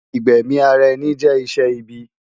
igbẹmi árá ènì jè iṣè ìbì